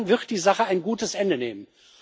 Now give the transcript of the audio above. Und dann wird die Sache ein gutes Ende nehmen.